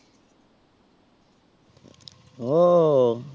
ও